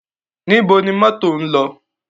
Níbo ni mọ́tò ń lọ?